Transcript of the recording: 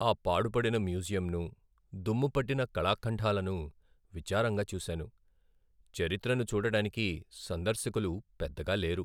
ఆ పాడుపడిన మ్యూజియంను, దుమ్ము పట్టిన కళాఖండాలను విచారంగా చూశాను. చరిత్రను చూడటానికి సందర్శకులు పెద్దగా లేరు.